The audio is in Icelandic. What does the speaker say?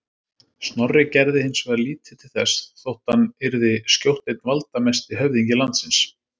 Snorri gerði hins vegar lítið til þess þótt hann yrði skjótt einn valdamesti höfðingi landsins.